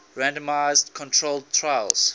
randomized controlled trials